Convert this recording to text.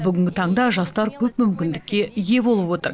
бүгінгі таңда жастар көп мүкіндікке ие болып отыр